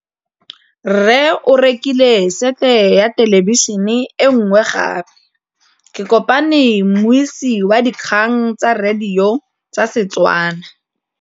Rre o rekile sete ya thêlêbišênê e nngwe gape. Ke kopane mmuisi w dikgang tsa radio tsa Setswana.